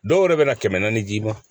Dɔw yɛrɛ bɛna kɛmɛ naani d'i ma